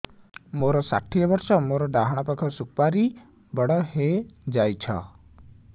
ମୋର ଷାଠିଏ ବର୍ଷ ମୋର ଡାହାଣ ପାଖ ସୁପାରୀ ବଡ ହୈ ଯାଇଛ